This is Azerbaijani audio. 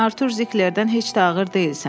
Sən Artur Ziklerdən heç də ağır deyilsən.